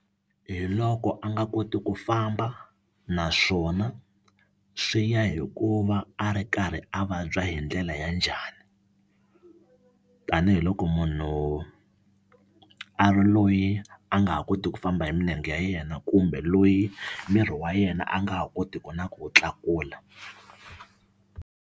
Hi loko a nga koti ku famba naswona swi ya hi ku va a ri karhi a vabya hi ndlela ya njhani tanihiloko munhu a ri loyi a nga ha koti ku famba hi milenge ya yena kumbe loyi miri wa yena a nga ha kotiki na ku wu tlakula.